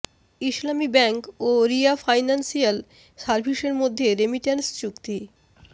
ইসলামী bank ও Ria financial সার্ভিসেসের মধ্যে রেমিট্যান্স চুক্তি